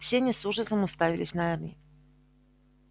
все они с ужасом уставились на эрни